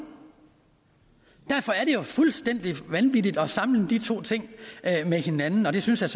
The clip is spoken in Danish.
derfor er det jo fuldstændig vanvittigt at sammenligne de to ting med hinanden og det synes jeg